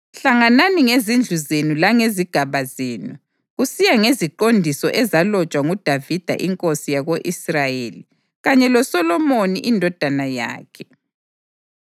Hlanganani ngezindlu zenu langezigaba zenu, kusiya ngeziqondiso ezalotshwa nguDavida inkosi yako-Israyeli kanye loSolomoni indodana yakhe.